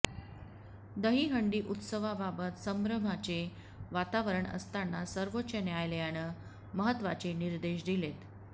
दहिहंडी उत्सवाबाबत संभ्रमाचे वातावरण असताना सर्वोच्च न्यायालयानं महत्त्वाचे निर्देश दिलेत